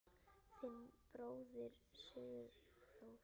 Þinn bróðir, Sigþór.